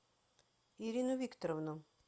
ирину викторовну